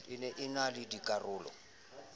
ena e na le dikarolo